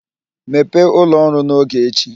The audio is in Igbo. Mepee ụlọ ọrụ n'oge echi!